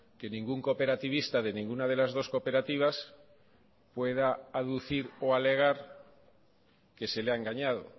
que ningún cooperativista de ninguna de las dos cooperativas pueda aducir o alegar que se le ha engañado